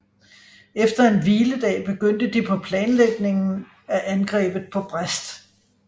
Efter en hviledag begyndte de på planlægningen af angrebet på Brest